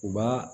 U b'a